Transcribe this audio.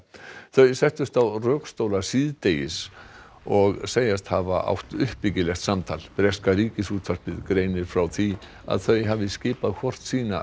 þau settust á rökstóla síðdegis og segjast hafa átt uppbyggilegt samtal breska Ríkisútvarpið greinir frá því að þau hafi skipað hvort sína